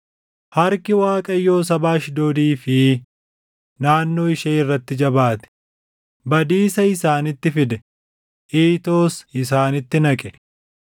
Harki Waaqayyoo saba Ashdoodii fi naannoo ishee irratti jabaate; badiisa isaanitti fide; iitoos isaanitti naqe.